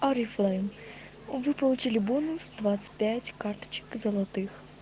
вы получили бонус карточек золотых